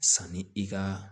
Sanni i ka